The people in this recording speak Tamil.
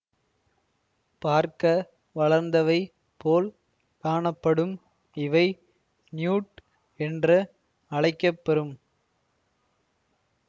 பார்க்க வளர்ந்தவை போல் காணப்படும் இவை நியூட் என்ற அழைக்க பெறும்